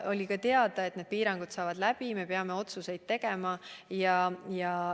Ja oli ka teada, et teatud piirangud saavad läbi, et me peame uusi otsuseid tegema.